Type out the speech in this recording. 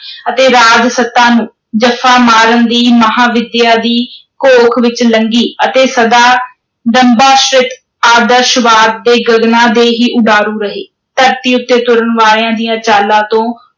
ਅਤੇ ਰਾਜ-ਸੱਤਾ ਨੂੰ ਜੱਫਾ ਮਾਰਨ ਦੀ ਮਹਾਂਵਿਦਿਆ ਦੀ ਘੋਖ ਵਿਚ ਲੰਘੀ ਅਤੇ ਸਦਾ ਦੰਭਾਸ਼ਿਤ ਆਦਰਸ਼ਵਾਦ ਦੇ ਗਗਨਾਂ ਦੇ ਹੀ ਉਡਾਰੂ ਰਹੇ, ਧਰਤੀ ਉੱਤੇ ਤੁਰਨ ਵਾਲਿਆਂ ਦੀਆਂ ਚਾਲਾਂ ਤੋਂ